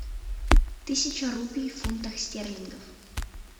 тысяча рупий в фунтах стерлингов